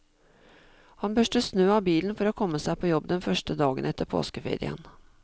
Han børster snø av bilen for å komme seg på jobb den første dagen etter påskeferien.